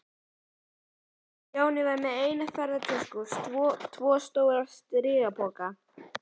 Stjáni var með eina ferðatösku og tvo stóra strigapoka.